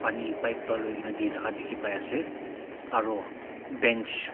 Pani pipe bra loi kena de thaka dekhe pa ase aro bench --